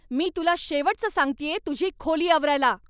मी तुला शेवटचं सांगतेय तुझी खोली आवरायला.